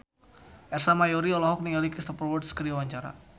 Ersa Mayori olohok ningali Cristhoper Waltz keur diwawancara